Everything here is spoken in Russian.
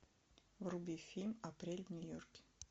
вруби фильм апрель в нью йорке